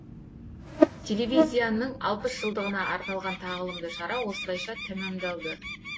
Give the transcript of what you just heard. телевизияның алпыс жылдығына арналған тағылымды шара осылайша тәмамдалды